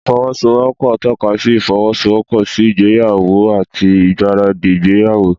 Ìfọwọ́sowọ́pọ̀ ń tọ́ka sí ìfọwọ́sowọ́pọ̀ sí ìgbéyàwó àti ìgbáradì ìgbéyàwó.